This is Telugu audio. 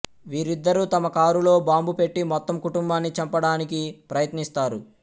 వీరిద్దరూ తమ కారులో బాంబు పెట్టి మొత్తం కుటుంబాన్ని చంపడానికి ప్రయత్నిస్తారు